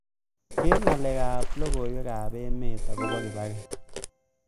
Keer ngalekab logoywekab emet agoba kibaki